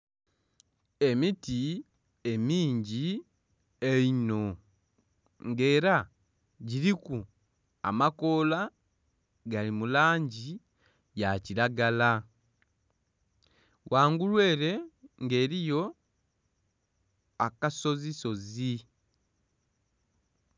Emiti emingi einho ng'era giriku amakoola gali mu langi ya kiragala ghangulu ere ng'eriyo akasozisozi.